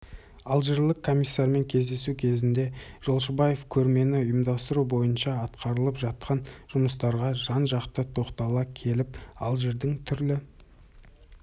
алжирлік комиссармен кездесу кезінде жошыбаев көрмені ұйымдастыру бойынша атқарылып жатқан жұмыстарға жан-жақты тоқтала келіп алжирдің түрлі